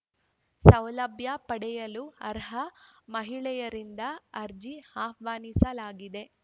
ಸೌಲಭ್ಯ ಪಡೆಯಲು ಅರ್ಹ ಮಹಿಳೆಯರಿಂದ ಅರ್ಜಿ ಆಹ್ವಾನಿಸಲಾಗಿದೆ